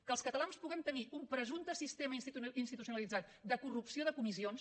que els catalans puguem tenir un presumpte sistema institucionalitzat de corrupció de comissions